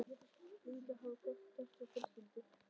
Minningarnar hafa gert okkur aftur að fjölskyldu.